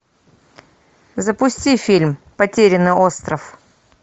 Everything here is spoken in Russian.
запусти фильм потерянный остров